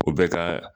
O bɛ ka